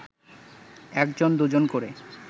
একজন দুজন ক’রে